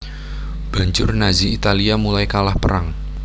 Banjur Nazi Italia mulai kalah perang